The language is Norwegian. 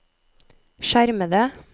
skjermede